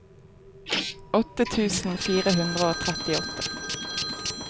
åtte tusen fire hundre og trettiåtte